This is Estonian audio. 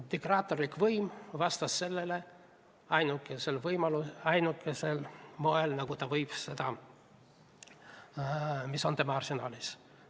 Diktaatorlik võim vastas neile ainukesel võimalikult moel, ainukese vahendiga, mis on tema arsenalis.